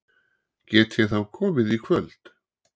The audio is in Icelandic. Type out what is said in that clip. Get ég þá komið í kvöld?